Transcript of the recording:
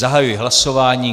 Zahajuji hlasování.